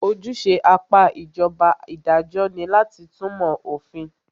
Ojúṣe apá ìjọba idajọ́ ní láti túnmọ̀ òfin.